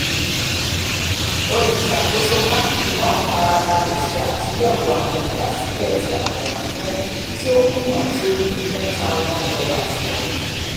oluṣakoso bánkì náà farabalẹ ṣe àtúnyẹwò àwọn ìgbàsílẹ̀ ti atẹ ránṣẹ ti o kùnà ti o jù ten thousand dollars lọ